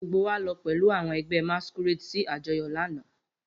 Gbogbo wa lọ pẹlu awọn ẹgbẹ masquerade si ajọyọ lana.